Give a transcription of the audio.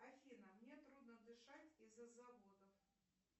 афина мне трудно дышать из за заводов